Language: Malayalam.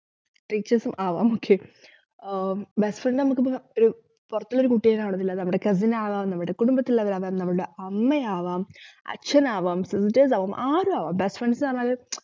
teachers ഉം ആവാം okay ആഹ് best friend മ്മക്കിപ്പോ പുറത്തുനിന്നുള്ള കുട്ടി ആവണമെന്നില്ല നമ്മള്ടെ cousin ആവാം നമ്മള്ടെ കുടുംബത്തിലുള്ളവരാവാം നമ്മള്ടെ അമ്മയാവാം അച്ഛനാവാം teachers ആവാം ആരുമാവാം best friends നു പറഞ്ഞാല്